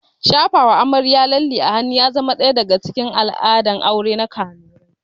Shafawa amarya lalle a hannu ya kasance ɗaya daga cikin al'adun aure na kanurai